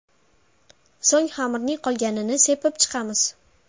So‘ng xamirning qolganini sepib chiqamiz.